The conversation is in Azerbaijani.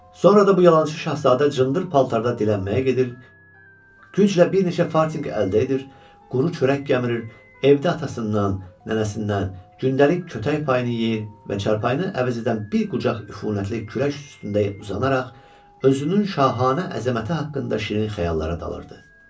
Sonra da bu yalançı şahzadə cındır paltarda dilənməyə gedir, güclə bir neçə fartiq əldə edir, quru çörək gəmirir, evdə atasından, nənəsindən gündəlik kötək payını yeyir və çarpayını əvəz edən bir qucaq üfunətli küləş üstündə uzanaraq özünün şahanə əzəməti haqqında şirin xəyallara dalırdı.